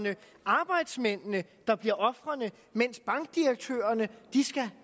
arbejdsmændene der bliver ofrene mens bankdirektørerne